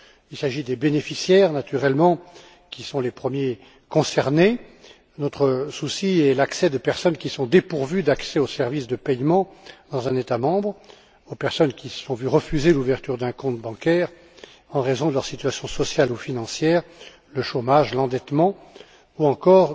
Il s'agit des bénéficiaires, naturellement, qui sont les premiers concernés, c'est à dire les personnes qui sont dépourvues d'accès aux services de paiement dans un État membre, celles qui se sont vu refuser l'ouverture d'un compte bancaire en raison de leur situation sociale ou financière, du chômage, de l'endettement ou encore